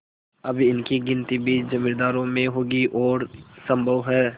अब इनकी गिनती भी जमींदारों में होगी और सम्भव है